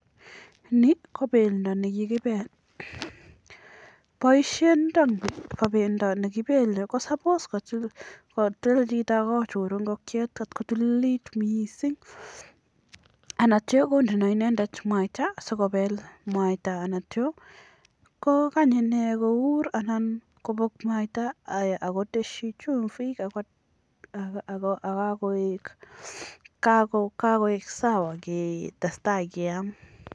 Ni kobendo ne kibele, bosietab bendo ne kibele ko sabos kosil, kochur chito ingokiet kotko tililit mising ak ityo konde inendet mwaita asikobel mwaita, ak ityo kogany inee kouur anan kobek mwaita aiya ak kotesyi chumbik ago ak kagoik sawa ketestai keam.